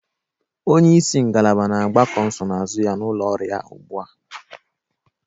Onye isi ngalaba na-agbakọ nsonaazụ ya n'ụlọ ọrụ ya ugbu a